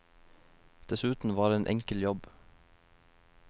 Dessuten var det en enkel jobb.